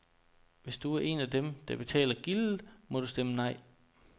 Hvis du er en af dem, der betaler gildet, må du stemme nej.